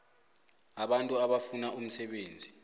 abantu abafuna umsebenzi